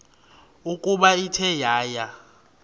ukuba ithe yaya